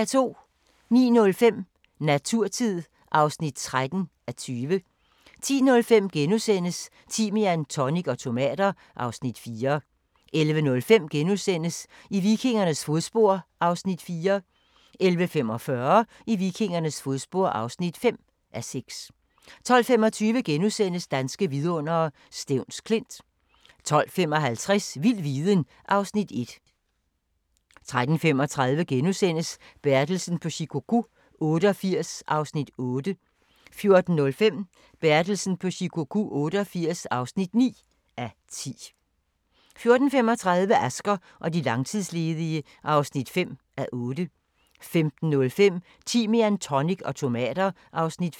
09:05: Naturtid (13:20) 10:05: Timian, tonic og tomater (Afs. 4)* 11:05: I vikingernes fodspor (4:6)* 11:45: I vikingernes fodspor (5:6) 12:25: Danske vidundere: Stevns Klint * 12:55: Vild viden (Afs. 1) 13:35: Bertelsen på Shikoku 88 (8:10)* 14:05: Bertelsen på Shikoku 88 (9:10) 14:35: Asger og de langtidsledige (5:8) 15:05: Timian, tonic og tomater (Afs. 5)